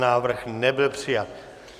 Návrh nebyl přijat.